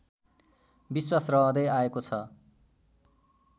विश्वास रहँदै आएको छ